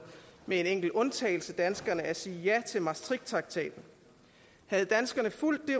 med en enkelt undtagelse danskerne at sige ja til maastrichttraktaten havde danskerne fulgt det